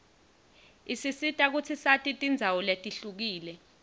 isisita kutsi sati tindzawo letihlukile